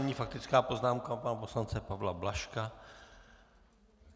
Nyní faktická poznámka pana poslance Pavla Blažka.